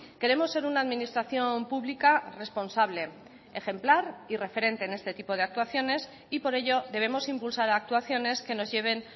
queremos ser una administración pública responsable ejemplar y referente en este tipo de actuaciones y por ello debemos impulsar actuaciones que nos lleven